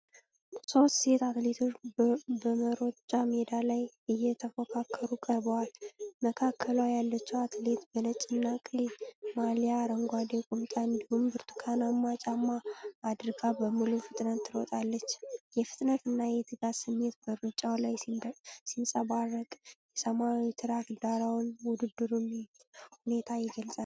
ሶስት ሴት አትሌቶች በመሮጫ ሜዳ ላይ እየተፎካከሩ ቀርበዋል። መካከሏ ያለችው አትሌት በነጭና ቀይ ማሊያ፣ አረንጓዴ ቁምጣ እንዲሁም ብርቱካንማ ጫማ አድርጋ በሙሉ ፍጥነት ትሮጣለች። የፍጥነትና የትጋት ስሜት በሩጫው ላይ ሲንጸባረቅ፣ የሰማያዊ ትራክ ዳራውም የውድድሩን ሁኔታ ይገልጻል።